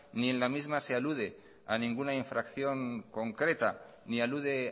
ni en la misma se alude a ninguna infracción concreta ni alude